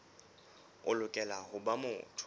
o lokela ho ba motho